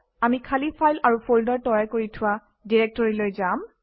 আমি খালী ফাইল আৰু ফল্ডাৰ তৈয়াৰ কৰি থোৱা ডিৰেক্টৰীলৈ যাম